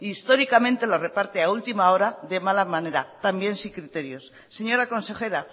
históricamente los reparte a última hora de mala manera también sin criterios señora consejera